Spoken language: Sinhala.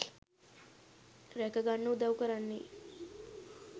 රැකගන්න උදව් කරන්නේ